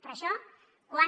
però això quan